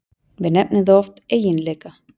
Við nefnum það oft eiginleika.